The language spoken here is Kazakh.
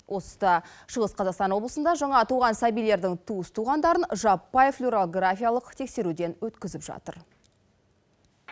осы тұста шығыс қазақстан облысында жаңа туған сәбилердің туыс туғандарын жаппай флюорографиялық тексеруден өткізіп жатыр